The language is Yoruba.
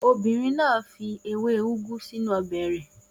Obìnrin náà fi ewé úgú sínú ọbẹ̀ rẹ̀.